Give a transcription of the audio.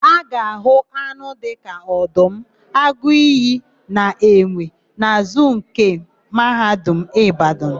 A ga-àhụ́ anụ dịka ọdụm, agụ iyi na enwe na zuu nke Mahadum Ịbadanụ.